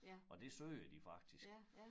Og det søger de faktisk